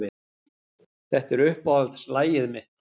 Þetta er uppáhaldslagið mitt.